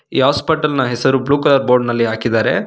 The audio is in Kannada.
ಈ ಹಾಸ್ಪಿಟಲ್ ನ ಹೆಸರು ಬ್ಲೂ ಕಲರ್ ಬೋರ್ಡ ನಲ್ಲಿ ಹಾಕಿದರೆ.